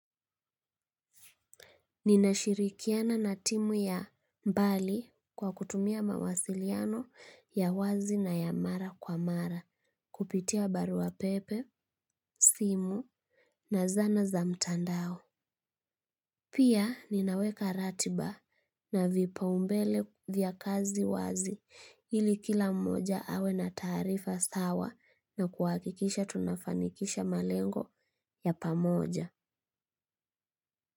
Ninashirikiana na timu ya mbali kwa kutumia mawasiliano ya wazi na ya mara kwa mara kupitia barua pepe, simu na zana za mtandao. Pia ninaweka ratiba na vipaumbele vya kazi wazi ili kila mmoja awe na taarifa sawa na kuakikisha tunafanikisha malengo ya pamoja.